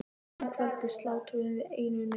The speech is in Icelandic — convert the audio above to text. Þá um kvöldið slátruðum við einu nauti.